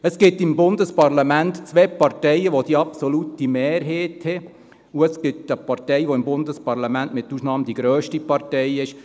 Es gibt im Bundesparlament zwei Parteien, welche die absolute Mehrheit haben, und es gibt eine Partei im Bundesparlament, welche ausnahmslos die grösste Partei ist.